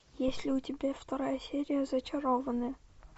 есть ли у тебя вторая серия зачарованные